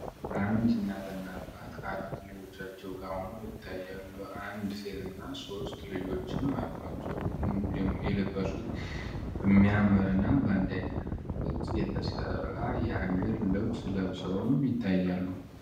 አንድ እናት አባት ከአራት ልጆቻቸው ጋራ ሆነው ይታያሉ። አንድ ሴት እና ሶስት ልጆችም አሉዋቸው። የለበሱት በሚያምር እና በአንድ ዓይነት ቅርጽ የተሠራ የሀገር ልብስ ለብሰዉም ይታያሉ።